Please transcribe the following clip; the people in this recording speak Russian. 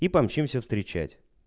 и помчимся встречать